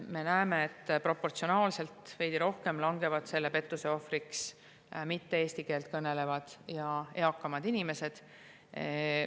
Me näeme, et proportsionaalselt veidi rohkem langevad pettuse ohvriks mitte eesti keelt kõnelevad ja eakamad inimesed.